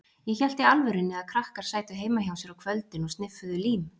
Ég hélt í alvörunni að krakkar sætu heima hjá sér á kvöldin og sniffuðu lím.